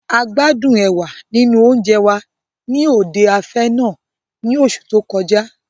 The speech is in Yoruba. A gbádún ẹ̀wà nínú oúnjẹ wa ni òde afẹ́ náà ní oṣu to kọjá.